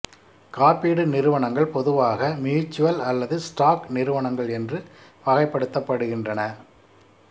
காப்பீடு நிறுவனங்கள் பொதுவாக மியுச்சுவல் அல்லது ஸ்டாக் நிறுவனங்கள் என்று வகைப்படுத்தப்படுகின்றன